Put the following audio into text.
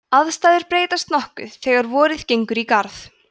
aðstæður breytast nokkuð þegar vorið gengur í garð